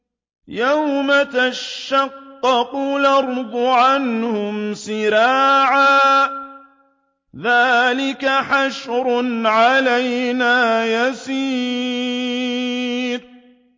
يَوْمَ تَشَقَّقُ الْأَرْضُ عَنْهُمْ سِرَاعًا ۚ ذَٰلِكَ حَشْرٌ عَلَيْنَا يَسِيرٌ